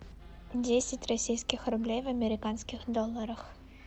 десять российских рублей в американских долларах